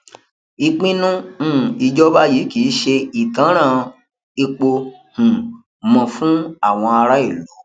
ìpinnu um ìjọba yìí kì í ṣe ìtanràn epo um mọ fún àwọn ará ìlú